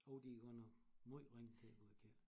Jo de er godt nok måj ringe til at gå i kirke